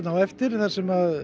á eftir þar sem